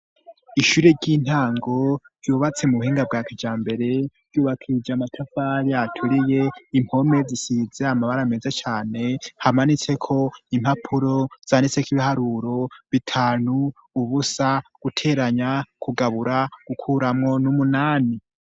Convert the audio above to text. ishuri ry'intango ryubatse mu buhinga bwakijambere ryubakishijwe amatafari aturiye impome zisize amabara meze cane hamanitse ko impapuro zanditseko ibiharuro bitanu ubusa guteranya kugabura gukuramwo n'umunani